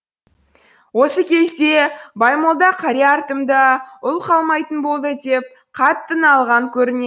осы кезде баймолда қария артымда ұл қалмайтын болды деп қатты налыған көрінеді